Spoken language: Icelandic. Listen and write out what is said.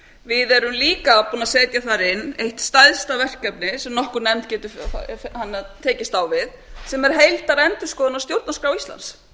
við erum líka búin að setja inn eitt stærsta verkefni sem nokkur nefnd getur tekist á við sem er heildarendurskoðun á stjórnarskrá íslands